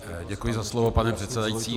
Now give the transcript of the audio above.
Děkuji za slovo, pane předsedající.